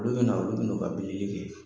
Olu bɛna, olu bɛn'u ka bilili kɛ.